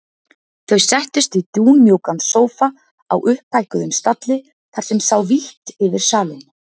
Þau settust í dúnmjúkan sófa á upphækkuðum stalli þar sem sá vítt yfir salinn.